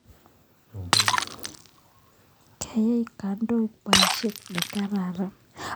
Koyai kandoik poisyet ne kararan